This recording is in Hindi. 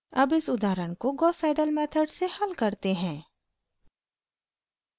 अब इस उदाहरण को gauss seidel मेथड से हल करते हैं